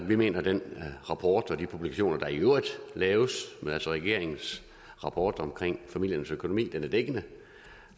vi mener at den rapport og de publikationer der i øvrigt laves altså regeringens rapport om familiernes økonomi er dækkende